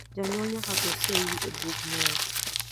janyual nyaka go seyi e bug nyuol